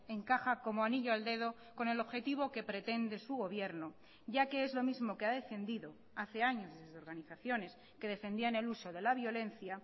encaja como anillo al dedo con el objetivo que pretende su gobierno ya que es lo mismo que ha defendido hace años desde organizaciones que defendían el uso de la violencia